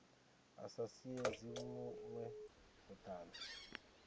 a sa siedze vhuṅwe vhuṱanzi